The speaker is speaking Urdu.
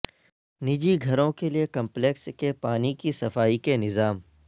نجی گھروں کے لئے کمپلیکس کے پانی کی صفائی کے نظام